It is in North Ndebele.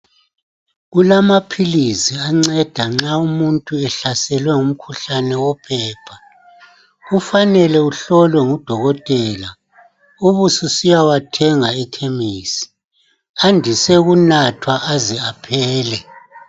Kulamaphilizi anceda nxa umuntu ehlaselwe ngumkhuhlane wophepha, kufanele uhlolwe ngudokotela ubususiya wathenga ekhemesi, andise ukunathwa aze aphele